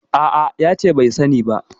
A'a, ya ce bai sani ba.